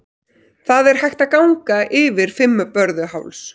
Það er hægt að ganga yfir Fimmvörðuháls.